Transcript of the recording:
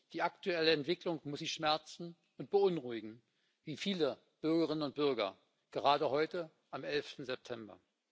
Die aktuelle Entwicklung muss Sie schmerzen und beunruhigen wie viele Bürgerinnen und Bürger gerade heute am 11. September.